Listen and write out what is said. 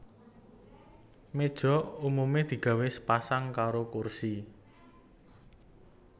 Méja umumé digawé sepasang karo kursi